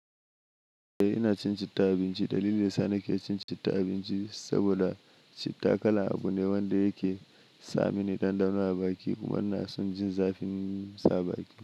Eh ina cin citta a abinci. Dalilin da ya sa nake cin citta abinci saboda citta kalan abu ne wanda yake samani ɗanɗano a baki kuma ina son jin zafin sa a baki.